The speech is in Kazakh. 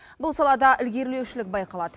бұл салада ілгерілеушілік байқалады